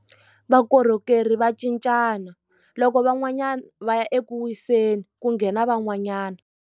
Vakorhokeri va cincana loko van'wanyana va ya eku wiseni ku nghena van'wanyana.